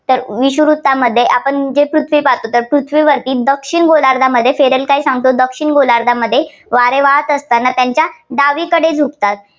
विषुववृत्तामध्ये आपण जी पृथ्वी पाहातो ती पृथ्वीवरती दक्षिण गोलार्धामध्ये फेरेल काय सांगतो दक्षिण गोलार्धामध्ये वारे वाहात असताना त्यांच्या डावीकडे झुकतात